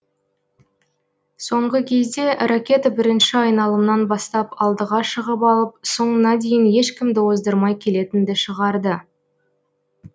соңғы кезде ракета бірінші айналымнан бастап алдыға шығып алып соңына дейін ешкімді оздырмай келетінді шығарды